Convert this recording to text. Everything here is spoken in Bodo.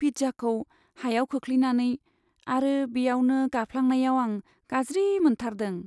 पिज्जाखौ हायाव खोख्लैनानै आरो बेयावनो गाफ्लांनायाव आं गाज्रि मोनथारदों।